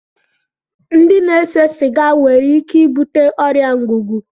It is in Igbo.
Ndị na-ese siga nwere ike ibute ọrịa ngụgụ